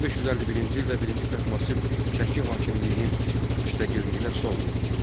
1551-ci ildə birinci Təhmasib Şəki hakimliyinin müstəqilliyinə son qoydu.